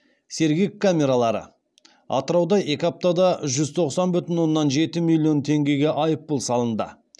сергек камералары атырауда екі аптада жүз тоқсан бүтін оннан жеті миллион теңгеге айыппұл салынды